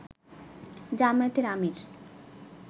জামায়াতের আমির